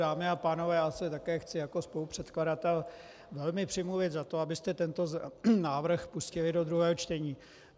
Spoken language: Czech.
Dámy a pánové, já se také chci jako spolupředkladatel velmi přimluvit za to, abyste tento návrh pustili do druhého čtení.